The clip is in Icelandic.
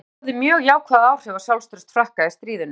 Þetta hafði mjög jákvæð áhrif á sjálfstraust Frakka í stríðinu.